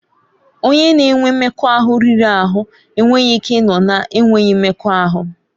Onye na-enwe mmekọahụ riri ahụ enweghị ike ịnọ na-enweghị mmekọahụ.